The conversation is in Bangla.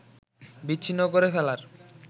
বিচ্ছিন্ন করে ফেলার